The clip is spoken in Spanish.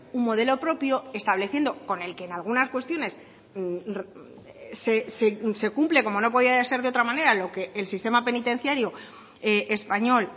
un modelo propio estableciendo con el que en algunas cuestiones se cumple como no podía ser de otra manera lo que el sistema penitenciario español